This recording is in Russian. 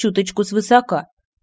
чуточку с высока